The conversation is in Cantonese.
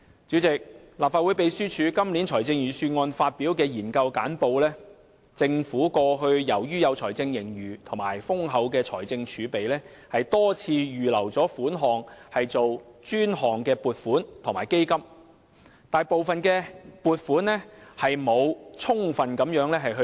主席，立法會秘書處今年就預算案擬備研究簡報，當中指出，政府過去由於有財政盈餘及豐厚的財政儲備，多次預留款項作專項撥款及基金，卻沒有充分利用部分撥款。